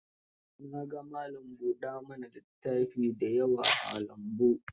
Na ga malam buɗa ma na littafi da yawa a lambun.